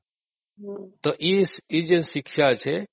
ତ ଏଇ ଯୋଉ ଶିକ୍ଷା ଅଛି